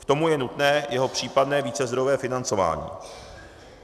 K tomu je nutné jeho případné vícezdrojové financování.